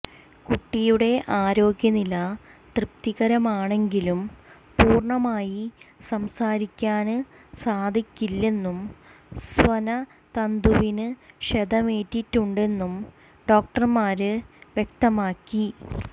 കുട്ടിയുടെ ആരോഗ്യനില തൃപ്തികരമാണെങ്കിലും പൂര്ണമായി സംസാരിക്കാന് സാധിക്കില്ലെന്നും സ്വനതന്തുവിന് ക്ഷതമേറ്റിട്ടുണ്ടെന്നും ഡോക്ടര്ന്മാര് വ്യക്തമാക്കി